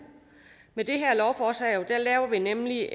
med det her lovforslag laver vi nemlig